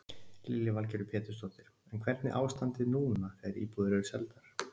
Lillý Valgerður Pétursdóttir: En hvernig ástandið núna þegar íbúðir eru seldar?